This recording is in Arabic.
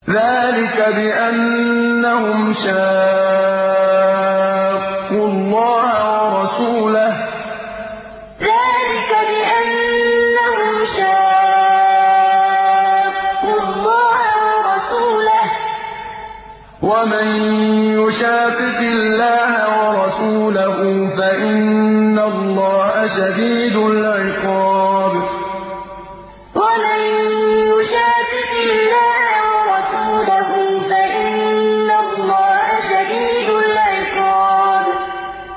ذَٰلِكَ بِأَنَّهُمْ شَاقُّوا اللَّهَ وَرَسُولَهُ ۚ وَمَن يُشَاقِقِ اللَّهَ وَرَسُولَهُ فَإِنَّ اللَّهَ شَدِيدُ الْعِقَابِ ذَٰلِكَ بِأَنَّهُمْ شَاقُّوا اللَّهَ وَرَسُولَهُ ۚ وَمَن يُشَاقِقِ اللَّهَ وَرَسُولَهُ فَإِنَّ اللَّهَ شَدِيدُ الْعِقَابِ